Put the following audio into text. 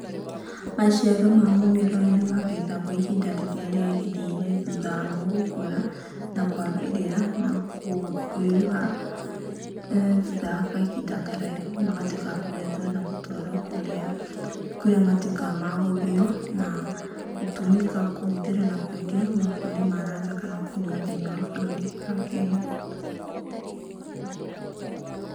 Maciaro ma mũmera ũyũ nĩ magethagwo ihinda rĩrĩ rĩagĩrĩire thutha wa mo gũkũra, na kwagĩrĩra na kwĩruha. Thutha wa kahinda karaihu magatuĩka ma kugethwo na magatwarwo kũrĩa matuĩkaga ma gũthĩo na gũtũmĩka, kũhũthĩra kwendio mabũrũri ma nanja, na kana kũnyuo thiinĩ wa bũrũri wa kenya.